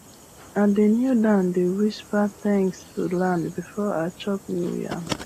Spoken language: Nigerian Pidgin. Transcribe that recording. i dey kneel down dey whisper thanks to land before i chop new yam